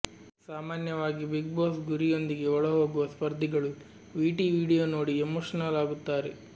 ಸಾಮಾನ್ಯವಾಗಿ Bigg Boss ಗುರಿಯೊಂದಿಗೆ ಒಳ ಹೋಗುವ ಸ್ಪರ್ಧಿಗಳು ವಿಟಿ ವಿಡಿಯೋ ನೋಡಿ ಎಮೋಷನಲ್ ಆಗುತ್ತಾರೆ